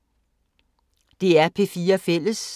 DR P4 Fælles